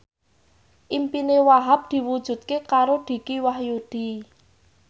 impine Wahhab diwujudke karo Dicky Wahyudi